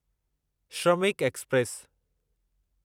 Shramik express